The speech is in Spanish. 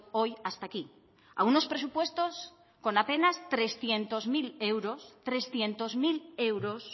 hoy hasta ahí a unos presupuestos con apenas trescientos mil euros